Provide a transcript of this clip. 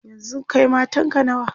yanzun Kai matanka nawa?